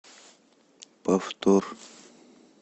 повтор